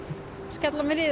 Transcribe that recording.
skella mér í